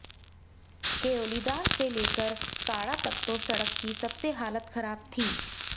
केयोलीधार से लेकर कांढा तक तो सड़क की सबसे खराब हालत थी